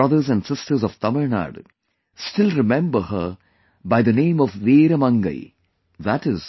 My brothers and sisters of Tamil Nadu still remember her by the name of Veera Mangai i